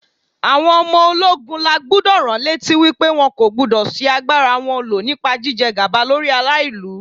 Àwọn ọmọ ológun la gbúdọ̀ ránlétí wípé wọn kò gbúdọ̀ ṣi agbára wọn lò nípa jíjẹ gàba lórí ara ìlú.